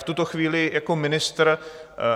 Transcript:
V tuto chvíli jako ministr